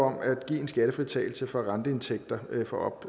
om at give en skattefritagelse fra renteindtægter for op